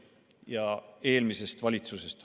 Jutt on eelmisest valitsusest.